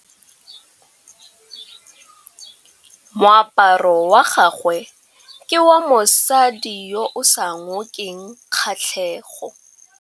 Moaparô wa gagwe ke wa mosadi yo o sa ngôkeng kgatlhegô.